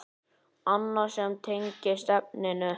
Annað sem tengist efninu